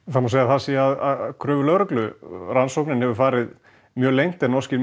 það má segja að það sé að kröfu lögreglu rannsóknin hefur farið mjög leynt en norskir